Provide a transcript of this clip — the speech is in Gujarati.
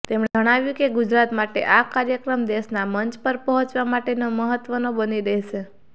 તેમણે જણાવ્યું કે ગુજરાત માટે આ કાર્યક્રમ દેશનાં મંચ પર પહોચવા માટેનો મહત્વનો બની રહેશે